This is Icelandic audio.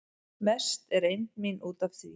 Mest er eymd mín út af því